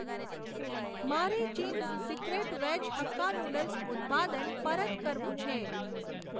મારે Ching's secret veg hakka noodles ઉત્પાદન પરત કરવું છે.